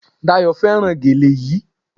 Dayò fẹ́ràn gèlè yí